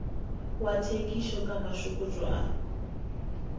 wa thekišo ka mašokotšo a